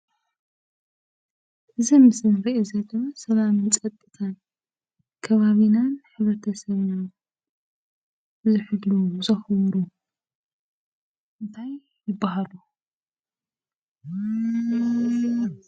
እዚ ኣብ ምስሊ እንሪኦ ዘለና ሰላምን ፀፅታን ከባቢናን ሕብረተሰብናን ዝሕልዉ ዘኽብሩ እንታይ ይባሃሉ፡?